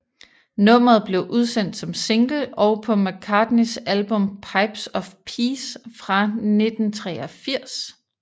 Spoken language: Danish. Nummeret blev udsendt som single og på McCartneys album Pipes of Peace fra 1983